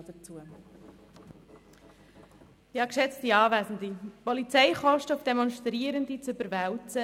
Es ist nicht demokratisch, Polizeikosten auf Demonstrierende zu überwälzen.